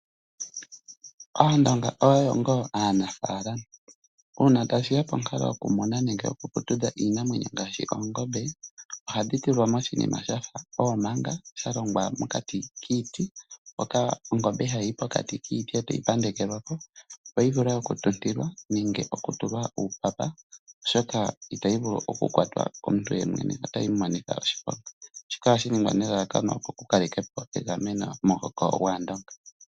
Aandonga oyendji oyo ngaa anaafalama , uuna tashiya ponkalo yoku muna nenge yoku putudha iinamwenyo ngaashi oongombe ohadhi tulwa moshinima shafa oomanga shalongwa mokati kiiti moka ongombe hayi yi pokati miiti etoyi pandeke lwa po, opo yi vule oku tuntilwa nenge okutulwa uupapa shoka itayi vulu oku kwatwa komuntu otayi yi mu monitha oshiponga shika ohashi ningwa nelalakano lyokukale kapo egameno momuhoko gwaandonga .